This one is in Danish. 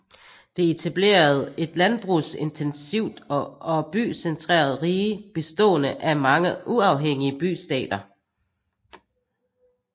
De etablerede et landbrugsintensivt og bycentreret rige bestående af mange uafhængige bystater